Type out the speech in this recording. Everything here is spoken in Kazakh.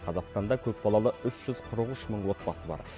қазақстанда көп балалы үш жүз қырық үш мың отбасы бар